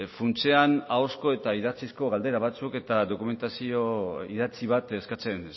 funtsean ahozko eta idatzizko galdera batzuk eta dokumentazio idatzi bat eskatzen